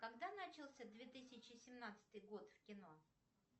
когда начался две тысячи семнадцатый год в кино